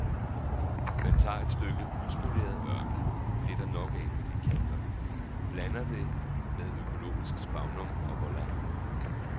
Man tager et stykke uspoleret ørken, det er der nok af på de kanter, blander med økologisk sphagnum, og voila.